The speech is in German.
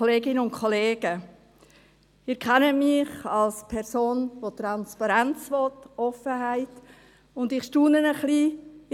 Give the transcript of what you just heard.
Sie kennen mich als Person, die Transparenz und Offenheit will, und ich staune ein wenig: